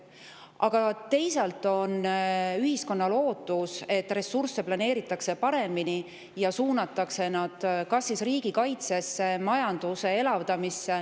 Aga teisalt on ühiskonnal ootus, et ressursse planeeritaks paremini ja suunataks need kas riigikaitsesse või majanduse elavdamisse.